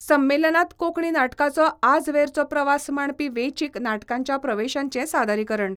संमेलनात कोंकणी नाटकाचो आजवेरचो प्रवास मांडपी वेंचीक नाटकांच्या प्रवेशांचें सादरीकरण.